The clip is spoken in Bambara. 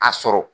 A sɔrɔ